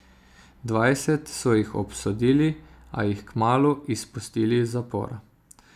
Dvajset so jih obsodili, a jih kmalu izpustili iz zapora.